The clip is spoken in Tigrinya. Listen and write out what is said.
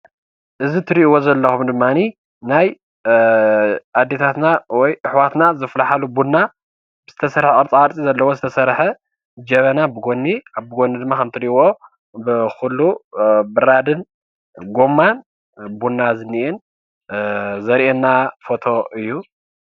እዚ ትርእይዎ ዘለኹም ድማኒ ናይ ኣዴታትና ወይ ኣሕዋትና ዘፍልሓሉ ቡና ዝተፈለየ ቅርፃ ቅርፂ ዘለዎ ዝተሰርሐ ጀበና ብጎኒ ብጎኒ ድማ ከምቲ ትርእይዎ ኩሉ ብራድን ጎማን ቡና ዝንኤን ዘርእየና ፎቶ እዩ።